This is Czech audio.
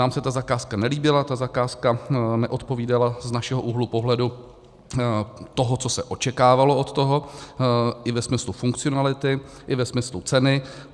Nám se ta zakázka nelíbila, ta zakázka neodpovídala z našeho úhlu pohledu, toho, co se očekávalo od toho, i ve smyslu funkcionality, i ve smyslu ceny.